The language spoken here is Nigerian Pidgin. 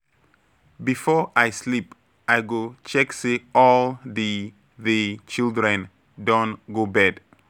Before I sleep, I go check say all the the children don go bed.